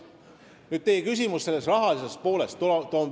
Nüüd sellest rahalisest poolest, mille kohta te küsisite.